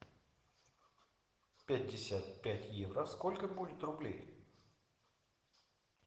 пятьдесят пять евро сколько будет рублей